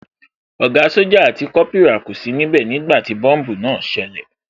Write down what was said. Ògá sójà àti Kópírà kò sí níbẹ̀ nígbàtí tí bọ́mbùù náà ṣẹlẹ̀